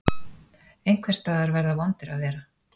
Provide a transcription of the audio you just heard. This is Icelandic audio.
Einhvers staðar verða vondir að vera.